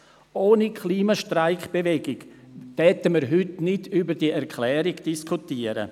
Ohne Klimastreik-Bewegung würden wir heute nicht über diese Erklärung diskutieren.